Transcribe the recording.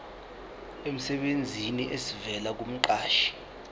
emsebenzini esivela kumqashi